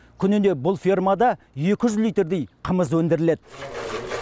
күніне бұл фермада екі жүз литрдей қымыз өндіріледі